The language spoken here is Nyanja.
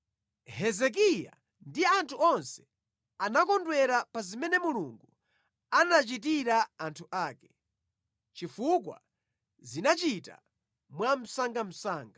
Hezekiya ndi anthu onse anakondwera pa zimene Mulungu anachitira anthu ake, chifukwa zinachita mwamsangamsanga.